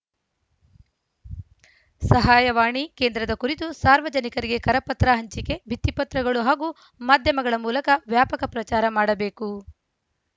ಸಹಾಯವಾಣಿ ಕೇಂದ್ರದ ಕುರಿತು ಸಾರ್ವಜನಿಕರಿಗೆ ಕರಪತ್ರ ಹಂಚಿಕೆ ಭಿತ್ತಿಪತ್ರಗಳು ಹಾಗೂ ಮಾಧ್ಯಮಗಳ ಮೂಲಕ ವ್ಯಾಪಕ ಪ್ರಚಾರ ಮಾಡಬೇಕು